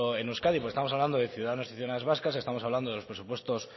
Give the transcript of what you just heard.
en euskadi porque estamos hablando de ciudadanos y ciudadanas vascas estamos hablando de los presupuestos